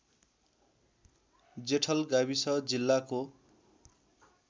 जेठल गाविस जिल्लाको